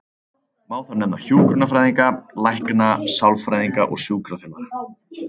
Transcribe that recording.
Má þar nefna hjúkrunarfræðinga, lækna, sálfræðinga og sjúkraþjálfara.